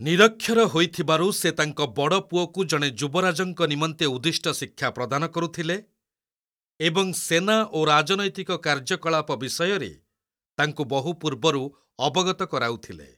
ନିରକ୍ଷର ହୋଇଥିବାରୁ ସେ ତାଙ୍କ ବଡ଼ ପୁଅକୁ ଜଣେ ଯୁବରାଜଙ୍କ ନିମନ୍ତେ ଉଦ୍ଦିଷ୍ଟ ଶିକ୍ଷା ପ୍ରଦାନ କରୁଥିଲେ ଏବଂ ସେନା ଓ ରାଜନୈତିକ କାର୍ଯ୍ୟକଳାପ ବିଷୟରେ ତାଙ୍କୁ ବହୁ ପୂର୍ବରୁ ଅବଗତ କରାଉଥିଲେ।